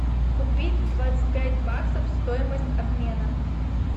купить двадцать пять баксов стоимость обмена